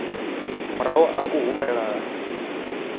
murahu ha u rumelwa ha